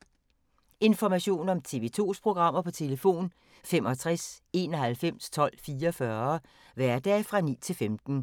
Information om TV 2's programmer: 65 91 12 44, hverdage 9-15.